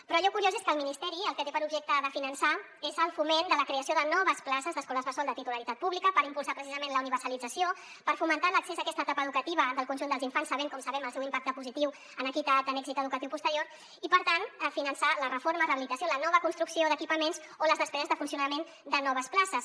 però allò curiós és que el ministeri el que té per objecte de finançar és el foment de la creació de noves places d’escoles bressol de titularitat pública per impulsar precisament la universalització per fomentar l’accés a aquesta etapa educativa del conjunt dels infants sabent com sabem el seu impacte positiu en equitat en èxit educatiu posterior i per tant finançar la reforma rehabilitació la nova construcció d’equipaments o les despeses de funcionament de noves places